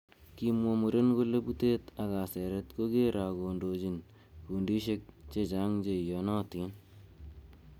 Kimwa muren kole butet ak kaseret kogere ak kondochin kundisiek che chang cheiyonotin.